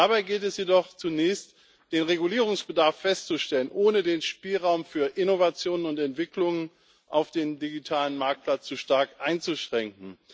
Dabei gilt es jedoch zunächst, den Regulierungsbedarf festzustellen, ohne den Spielraum für Innovationen und Entwicklungen auf dem digitalen Marktplatz zu stark einzuschränken.